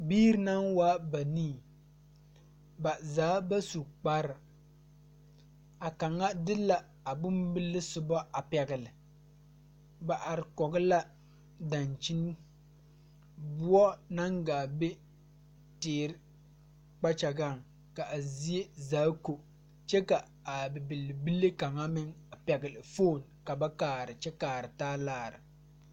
Biire naŋ waa banii ba zaa ba su kparre a kaŋa de la a bonbile sobo a pɛgle ba are kɔge la dankyini boɔ naŋ gaa be teere kpakyagaŋ ka a zie zaa ko kyɛ ka a bibil bile kaŋa a meŋ pɛgle foon ka ba kaara kyɛ kaara taa laara.